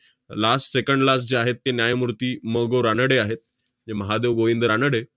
last second last जे आहेत ते न्यायमूर्ती म. गो. रानडे आहेत, जे महादेव गोविंद रानडे